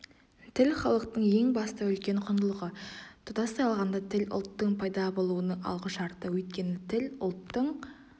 тіл халықтың ең басты үлкен құндылығы тұтастай алғанда тіл ұлттың пайда болуының алғышарты өйткені тіл ұлттың